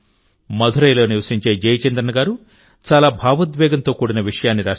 మధురైలో నివసించే జయచంద్రన్ గారు చాలా భావోద్వేగంతో కూడిన విషయాన్ని రాశారు